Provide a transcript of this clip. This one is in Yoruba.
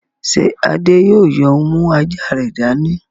Ṣé Adé yóò yóò mú àjà rẹ̀ dání?